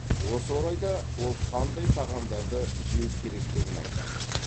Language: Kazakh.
осы орайда ол қандай тағамдарды жеу керектігін айтады